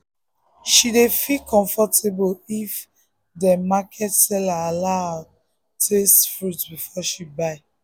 she dey feel comfortable if dem market seller dey allow her taste fruit before she buy.